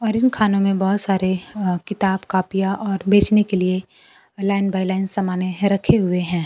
और इन खानों में बहोत सारे अ किताब-कॉपीयां और बेचने के लिए अ लाइन बाए लाइन सामाने है रखे हुए हैं।